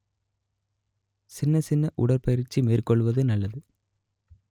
சின்ன சின்ன உடற்பயிற்சி மேற்கொள்வது நல்லது